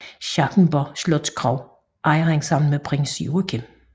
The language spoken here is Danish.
Schackenborg Slotskro ejer han sammen med Prins Joachim